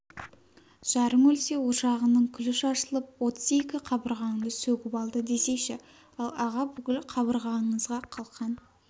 жарың өлсе ошағыңның күлі шашылып отыз екі қабырғаңды сөгіп алды десейші ал аға бүкіл қабырғаңызға қалқан